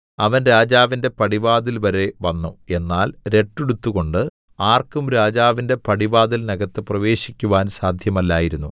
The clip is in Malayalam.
അവൻ രാജാവിന്റെ പടിവാതിൽ വരെ വന്നു എന്നാൽ രട്ടുടുത്തുകൊണ്ട് ആർക്കും രാജാവിന്റെ പടിവാതിലിനകത്ത് പ്രവേശിക്കുവാൻ സാധ്യമല്ലായിരുന്നു